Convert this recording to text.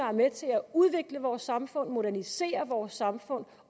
er med til at udvikle vores samfund modernisere vores samfund